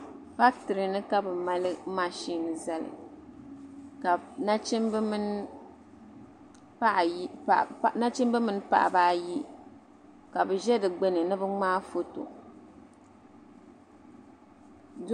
fakitire ni ka bɛ mali mashini zali ka nachimba mini paɣa ba ayi ka bɛ ʒe di gbuni ni bɛ ŋmaa foto